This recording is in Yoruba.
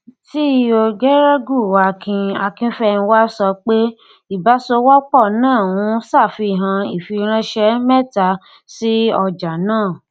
ceo geregu akin akínfẹnwá sọ pé ìbáṣòwòpọ náà ń ṣàfihàn ìfiránṣẹ mẹta sí ọjà náà